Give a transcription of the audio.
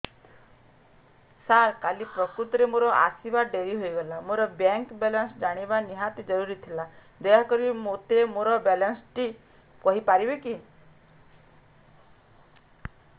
ସାର କାଲି ପ୍ରକୃତରେ ମୋର ଆସିବା ଡେରି ହେଇଗଲା ମୋର ବ୍ୟାଙ୍କ ବାଲାନ୍ସ ଜାଣିବା ନିହାତି ଜରୁରୀ ଥିଲା ଦୟାକରି ମୋତେ ମୋର ବାଲାନ୍ସ ଟି କହିପାରିବେକି